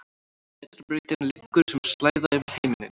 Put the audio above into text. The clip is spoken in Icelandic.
Vetrarbrautin liggur sem slæða yfir himinninn.